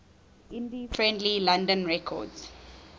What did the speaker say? indie friendly london records